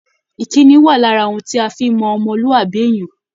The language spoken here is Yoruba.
Ìkínni wà lára ohun tí a fi ń mọ ọmọlúàbí èèyàn